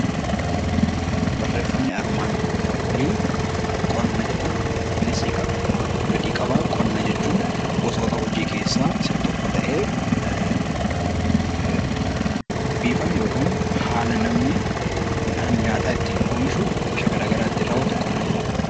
Qonna jechuun gosoota hojii keessaa ta'ee bifa yookaan haala namni nyaata ittiin oomishu qonna jenna